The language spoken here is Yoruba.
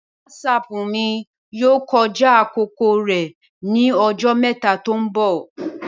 Wásáápu mi yoo kọja akoko rẹ ni ọjọ mẹta to nbọ